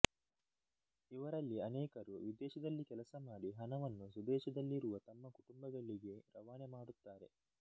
ಇವರಲ್ಲಿ ಅನೇಕರು ವಿದೇಶದಲ್ಲಿ ಕೆಲಸಮಾಡಿ ಹಣವನ್ನು ಸ್ವದೇಶದಲ್ಲಿರುವ ತಮ್ಮ ಕುಟುಂಬಗಳಿಗೆ ರವಾನೆ ಮಾಡುತ್ತಾರೆ